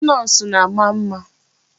Ndị Nọọsụ na-ama mma.